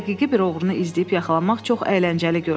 Həqiqi bir oğrunu izləyib yaxalamaq çox əyləncəli görünür.